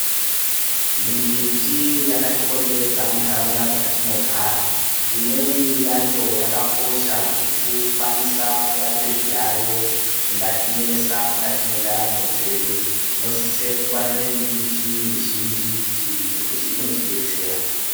Mimbiti yakatikomberedza muntaraunda dzatinogara imweni yacho yakakosha zvekukwanise kurape zviyayo zvingatinesa mukati mwendaramo dzedu tinosise kungwarira miti mizhinji ngekuti inotidetsera.